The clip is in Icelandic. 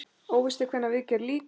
Óvíst er hvenær viðgerð lýkur.